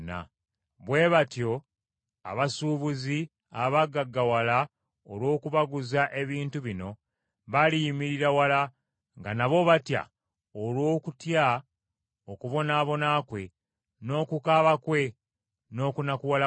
Bwe batyo abasuubuzi abaagaggawala olw’okubaguza ebintu bino, baliyimirira wala nga nabo batya, olw’okutya okubonaabona kwe, n’okukaaba kwe, n’okunakuwala kwe,